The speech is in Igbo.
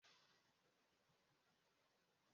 Ụlọ ezumike na-enye ụmụ akwụkwọ ebe obibi.